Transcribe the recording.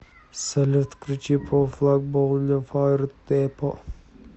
салют включи по флаг боулевард дэпо